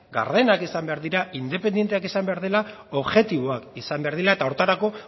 gardenak izan behar dira independenteak izan behar dela objektiboak izan behar direla eta horretarako